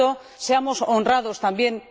Por tanto, seamos honrados también.